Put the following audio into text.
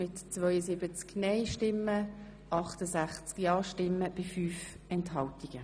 Wer Planungserklärung 6 annehmen will, stimmt ja, wer sie ablehnt, stimmt nein.